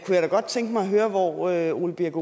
jeg godt tænke mig at høre hvor herre ole birk